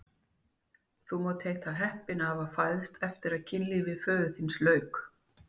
Þú mátt heita heppinn að hafa fæðst eftir að kynlífi föður þíns lauk!